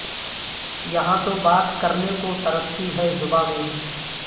یہاں تو بات کرنے کو ترستی ہے زبان میری